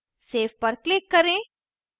save पर click करें